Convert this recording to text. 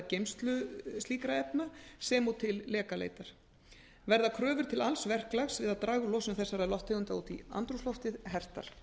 geymslu slíkra efna sem og til lekaleitar verða kröfur til alls verklags við að draga úr losun þessara lofttegunda út í andrúmsloftið hertar